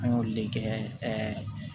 An y'olu le kɛ